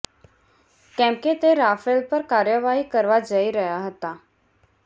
કેમ કે તે રાફેલ પર કાર્યવાહી કરવા જઈ રહ્યા હતા